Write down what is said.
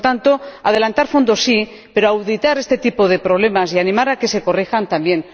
Por tanto, adelantar fondos, sí, pero auditar este tipo de problemas y animar a que se corrijan, también.